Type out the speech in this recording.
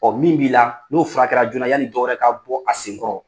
Ɔ min b'i la n'o furakɛra joona yani dɔwɛrɛ ka bɔ a senkɔrɔ